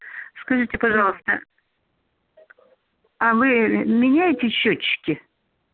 скажите пожалуйста а вы меняете счётчики